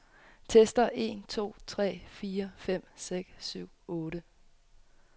Tester en to tre fire fem seks syv otte.